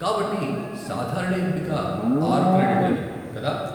కాబట్టి సాధారణ ఎంపిక ఆరు క్రెడిట్లది, కదా?